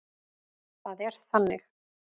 Það er þannig.